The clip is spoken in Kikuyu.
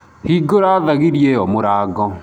Hingura thagiri ĩyo mũrango